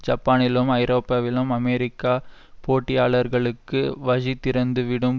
ஜப்பானிலும் ஐரோப்பாவிலும் அமெரிக்க போட்டியாளர்களுக்கு வழிதிறந்துவிடும்